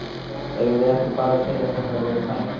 Eigum við ekki bara að segja að þetta verði þannig?